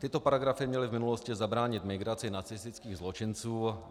Tyto paragrafy měly v minulosti zabránit migraci nacistických zločinců.